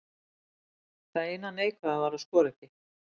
Það eina neikvæða var að skora ekki.